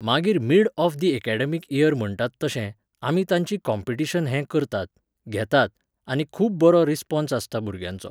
मागीर mid of the academic year म्हणटात तशें, आमी तांचीं कॉम्पिटिशन हें करतात, घेतात, आनी खूब बरो रिस्पॉन्स आसता भुरग्यांचो.